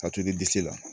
Ka to i disi la